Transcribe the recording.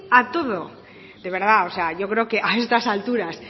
a todo de verdad o sea yo creo que a estas alturas